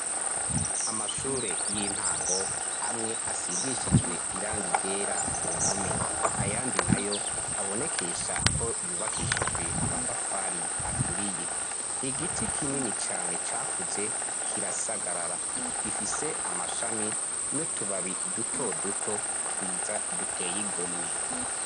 amashure y'intango amwe asigishijwe irangi ryera ku mpome ayandi nayo abonekesha ko yubakishijwe amatafari aturiye igiti kinini cyane cakuze kirasagarara gifise amashami nutubabi duto duto twiza duteye igomwe